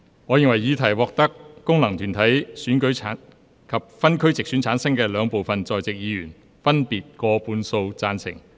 我認為議題獲得經由功能團體選舉產生及分區直接選舉產生的兩部分在席委員，分別以過半數贊成。